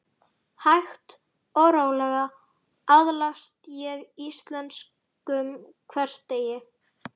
Hægt og rólega aðlagast ég íslenskum hversdegi.